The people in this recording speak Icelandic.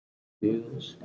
Unnu mestan hluta nætur.